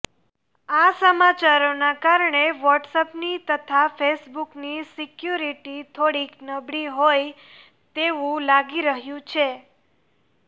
આ સમાચારોના કારણે વોટ્સએપની તથા ફેસબૂકની સિક્યુરિટી થોડીક નબળી હોઈ તેવું લાગી રહ્યું છે